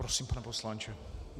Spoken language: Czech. Prosím, pane poslanče.